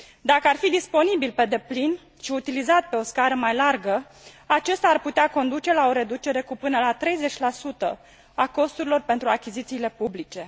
Dacă ar fi disponibil pe deplin și utilizat pe o scară mai largă, acesta ar putea conduce la o reducere cu până la 30 a costurilor pentru achizițiile publice.